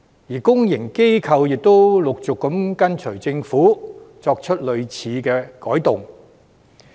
而公營機構亦陸續跟隨政府，作出類似改動。